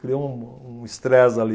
Criou um um stress ali.